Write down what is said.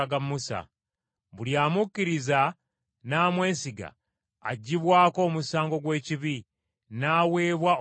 Buli amukkiriza n’amwesiga aggyibwako omusango gw’ekibi, n’aweebwa obutuukirivu.